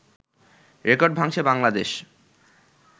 record ভাঙছে বাংলাদেশ